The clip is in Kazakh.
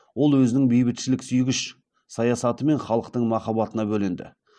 ол өзінің бейбітшіліксүйгіш саясатымен халықтың махаббатына бөленді